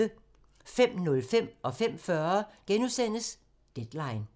05:05: Deadline * 05:40: Deadline *